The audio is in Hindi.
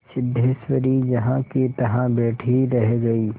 सिद्धेश्वरी जहाँकीतहाँ बैठी ही रह गई